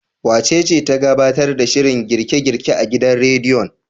Wacece ta gabtar da shirin girke-girke a gidan radiyon?